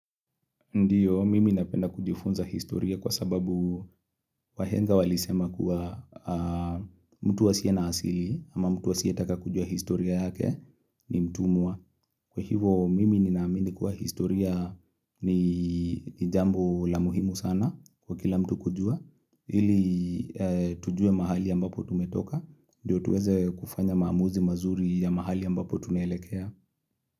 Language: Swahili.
Ndio, mimi napenda kujifunza historia kwa sababu wahenga walisema kuwa mtu wa asiye na asili ama mtu hasiye taka kujua historia yake ni mtumwa Kwa hivo, mimi ni naamini kuwa historia ni jambo la muhimu sana kwa kila mtu kujua. Hili tujue mahali ambapo tumetoka. Ndio tuweze kufanya maamuzi mazuri ya mahali ambapo tunelekea.